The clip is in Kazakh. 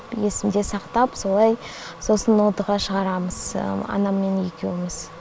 есімде сақтап солай сосын нотаға шығарамыз анаммен екеуіміз